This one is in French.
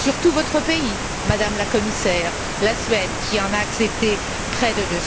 Surtout votre pays, Madame la Commissaire, la Suède qui en a accepté près de